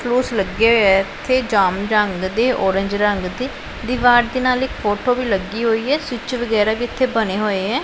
ਲੱਗਿਆ ਹੋਇਆ ਹੈ ਇੱਥੇ ਜਾਮਨੀ ਰੰਗ ਦੇ ਓਰੇਂਜ ਰੰਗ ਦੇ ਦਿਵਾਰ ਤੇ ਨਾਲ ਇੱਕ ਫੋਟੋ ਵੀ ਲੱਗੀ ਹੋਈ ਹੈ ਸਵਿੱਚ ਵਗੈਰਾ ਵੀ ਇੱਥੇ ਬਣੇ ਹੋਏ ਹੈਂ।